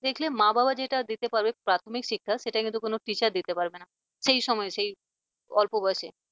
দেখলে মা বাবা যেটা দিতে পারবে প্রাথমিক শিক্ষা সেটা কিন্তু কোন teacher দিতে পারবে না সেই সময় সেই অল্প বয়সে